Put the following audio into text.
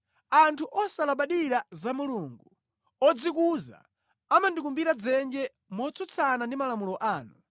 Anthu osalabadira za Mulungu, odzikuza amandikumbira dzenje motsutsana ndi malamulo anu.